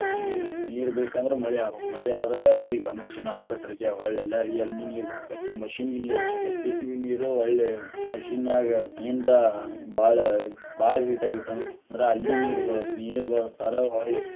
ನೀರ, ನೀರು ಬೇಕಂದ್ರ ಮಳಿ ಆಗ್ಬೇಕ ಮಳಿ ಆದ್ರ ಅಲ್ಲಿಗ machine operator ಗೆ ಹೊಳ್ಳಿ ಎಲ್ಲಾರಿಗೆ ಅಲ್ಲಿ ನೀರ ಬೆಕಾಕ್ಕೆತಿ, machine ಗೆ ನೀರ ಬೆಕಾಕ್ಕೇತಿ, ಹೊಳ್ಳಿ machine ನಾಗ ಏನ್ರ ಬಾಳ ಬಾಳ heat ಆಗಿತ್ತಂದ್ರ ಅಲ್ಲಿ ನೀರ ನೀರು ಬಳಸ್ತಾರ ಹೊಳ್ಳಿ.